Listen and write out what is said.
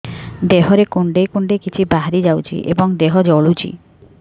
ଦେହରେ କୁଣ୍ଡେଇ କୁଣ୍ଡେଇ କିଛି ବାହାରି ଯାଉଛି ଏବଂ ଦେହ ଜଳୁଛି